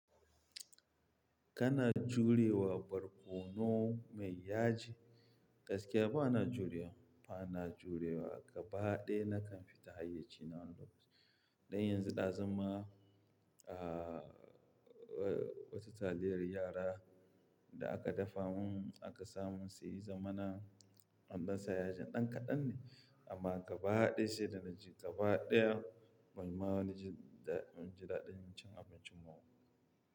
Kana jurewa barkono mai yaji? Gaskiya banida juriya, ba na jurewa. Gaba ɗaya nakan fita hayyaci wannan da lokaci. Dan yanzu ɗazun ma, wata taliyar yara da aka dafa mun aka samun saiya zamana an ɗansa yajin ɗan kaɗan ne amma gaba ɗaya sai danaji gaba ɗaya banji daɗin cin abincin ba.